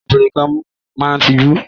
Àwọn obìnrin kan a máa tijú.